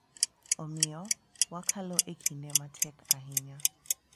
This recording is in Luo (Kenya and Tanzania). Omiyo, wakalo e kinde matek ahinya